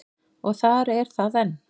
Og þar er það enn.